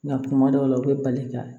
Nka kuma dɔw la u bɛ bali ka